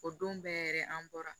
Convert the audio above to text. O don bɛɛ yɛrɛ an bɔra